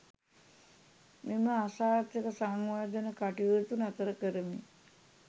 මෙම අසාර්ථක සංවර්ධන කටයුතු නතර කරමින්